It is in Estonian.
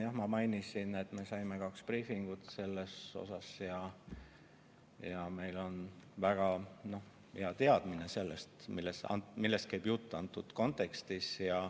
Jah, ma mainisin, et me saime sellest kaks briifi, ja meil on väga hea teadmine sellest, millest käib jutt antud kontekstis.